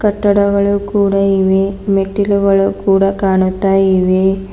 ಕಟ್ಟಡಗಳು ಕೂಡ ಇವೆ ಮೆಟ್ಟಿಲುಗಳು ಕೂಡ ಕಾಣುತ್ತಾ ಇವೆ.